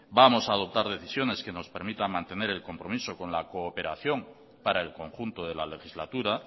vamos a adoptar decisiones que nos permitan mantener el compromiso con la cooperación para el conjunto de la legislatura